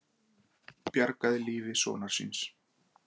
Bjargaði lífi sonar síns